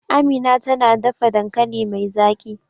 Amina tana dafa dankali mai zaki.